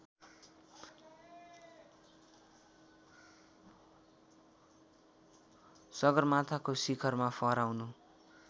सगरमाथाको शिखरमा फहराउन